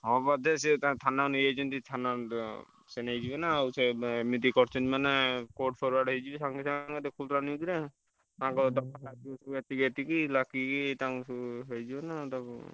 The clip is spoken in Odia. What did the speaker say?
ହଁ ବୋଧେ ସିଏ ତାକୁ ଥାନାକୁ ନେଇ ଯାଇଛନ୍ତି ଥାନାକୁ ସିଏ ନେଇଯିବେ ନାଁ ସିଏ ଏମିତି କରିଛନ୍ତି ମାନେ court forward ହେଇଯିବେ